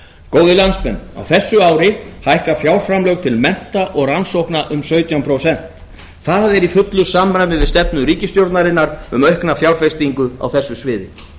góðir landsmenn á þessu ári hækka fjárframlög til mennta og rannsókna um sautján prósent það er í fullu samræmi við stefnu ríkisstjórnarinnar um aukna fjárfestingu á þessu sviði